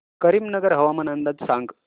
करीमनगर हवामान अंदाज सांग